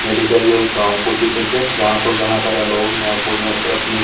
मेडिकारिया गाँव का चित्र छ जहा पर घाना सारा लोग अपनी --